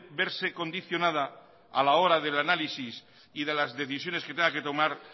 verse condicionada a la hora del análisis y de las decisiones que tenga que tomar